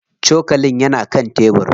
Cokalin yana kan tebir.